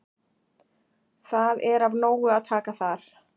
Það er af nógu að taka þar.